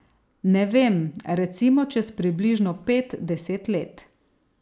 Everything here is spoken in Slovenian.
Ne vem, recimo čez približno pet, deset let.